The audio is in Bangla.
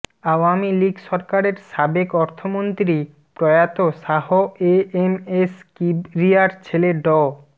আওয়ামী লীগ সরকারের সাবেক অর্থমন্ত্রী প্রয়াত শাহ এ এম এস কিবরিয়ার ছেলে ড